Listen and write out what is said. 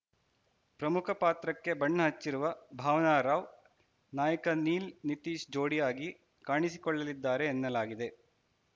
ಪ್ರಮುಖ ಪಾತ್ರಕ್ಕೆ ಬಣ್ಣ ಹಚ್ಚಿರುವ ಭಾವನಾ ರಾವ್‌ ನಾಯಕ ನೀಲ್‌ ನಿತೀಶ್‌ ಜೋಡಿ ಆಗಿ ಕಾಣಿಸಿಕೊಳ್ಳಲಿದ್ದಾರೆ ಎನ್ನಲಾಗಿದೆ